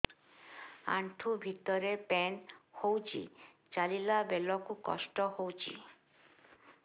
ଆଣ୍ଠୁ ଭିତରେ ପେନ୍ ହଉଚି ଚାଲିଲା ବେଳକୁ କଷ୍ଟ ହଉଚି